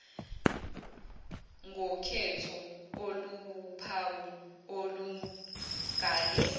ngokhetho oluwuphawu olungale